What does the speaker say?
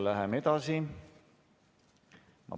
Läheme edasi.